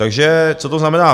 Takže co to znamená?